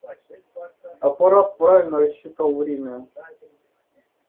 аппарат правильно рассчитал время